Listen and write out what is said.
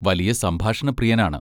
വലിയ സംഭാഷണപ്രിയനാണ്.